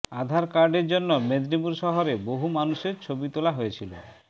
আধার কার্ডের জন্য মেদিনীপুর শহরের বহু মানুষের ছবি তোলা হয়েছিল